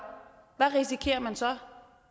hvad risikerer man så